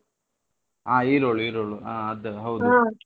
ಹಾ ಈರೋಳು, ಈರೋಳು ಹಾ ಅದ್ .